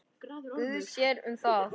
Guð sér um það.